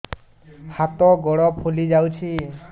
ହାତ ଗୋଡ଼ ଫୁଲି ଯାଉଛି